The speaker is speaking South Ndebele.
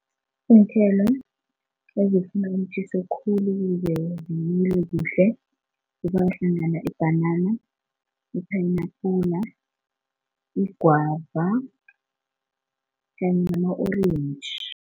Iinthelo ezifuna umtjhiso khulu ukuze zimile kuhle kubalwa hlangana ibhanana, iphenabhula, igwava kanye nama-orange.